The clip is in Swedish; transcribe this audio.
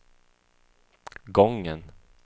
gången